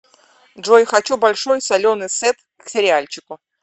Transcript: джой хочу большой соленый сет к сериальчику